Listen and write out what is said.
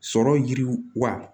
Sɔrɔ yiriwa